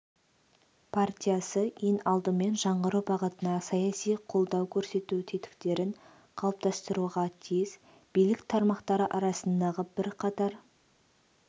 партиясы ең алдымен жаңғыру бағытына саяси қолдау көрсету тетіктерін қалыптастыруға тиіс билік тармақтары арасындағы бірқатар